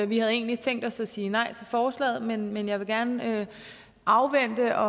vi havde egentlig tænkt os at sige nej til forslaget men jeg vil gerne afvente og